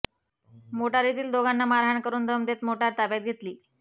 मोटारीतील दोघांना मारहाण करून दम देत मोटार ताब्यात घेतली